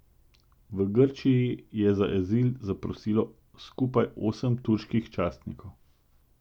V Grčiji je za azil zaprosilo skupaj osem turških častnikov.